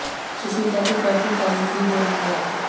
सुष्मिता की काफी तारीफ भी हो रही है